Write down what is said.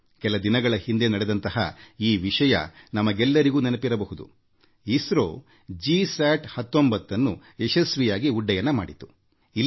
ಕೆಲ ದಿನಗಳ ಹಿಂದೆ ಇಸ್ರೋ ಜಿಸ್ಯಾಟ್ 19ನ್ನು ಯಶಸ್ವಿಯಾಗಿ ಉಡ್ಡಯನ ಮಾಡಿದ್ದು ನಿಮಗೆ ತಿಳಿದಿರಬಹುದು